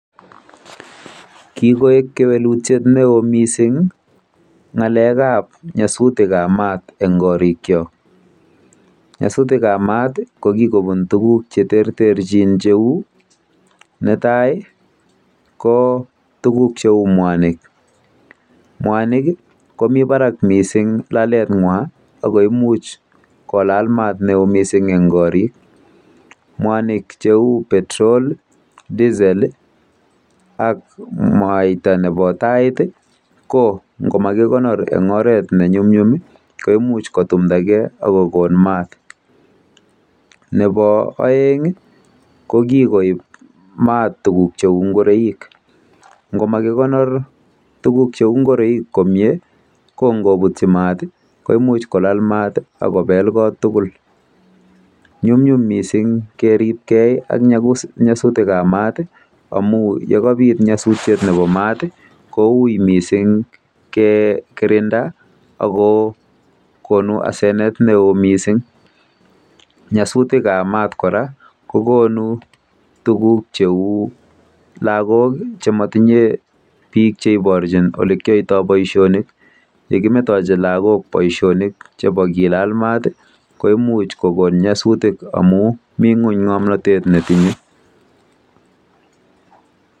Kikoek kewelutiet neo mising ng'alekab nyasutik ab maat eng korikyok. Nyasutikab maat ko kikobun tuguk cheterterchin cheu; Netai ko tuguk cheu mwanik. Mwanik komi barak mising laletng'wa akoimuch kolal maat neo mising eng korik. Mwanik cheu Petrol, diesel ak mwaita nebo tait ko ngomakikonor eng oret nenyumnyum komuch kotumdagei akokon maat. Nebo oeng ko kikoib maat tuguk cheu ngoroik.